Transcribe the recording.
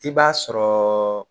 I b'a sɔrɔ